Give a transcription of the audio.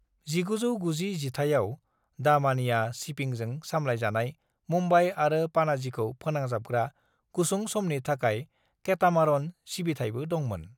1990 जिथाइआव दामानिया शिपिंजों सामलायजानाय मुम्बाई आरो पाणाजीखौ फोनांजाबग्रा गुसुं समनि थाखाय केटामारन सिबिथाइबो दंमोन।